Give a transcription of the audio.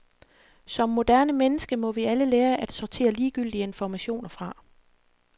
Som moderne menneske må vi alle lære at sortere ligegyldige informationer fra.